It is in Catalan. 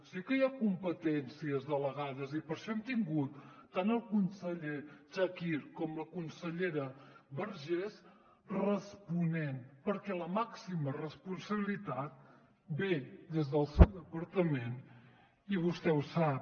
sí que hi ha competències delegades i per això hem tingut tant al conseller chakir com la consellera vergés responent perquè la màxima responsabilitat ve des del seu departament i vostè ho sap